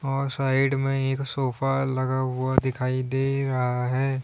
और साइड में एक सोफा लगा हुआ दिखाई दे रहा है।